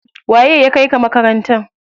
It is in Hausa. Waye ya kaika makaranta?